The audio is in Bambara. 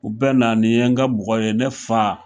U bɛ na nin ye ni ka mɔgɔ de ye ne fa.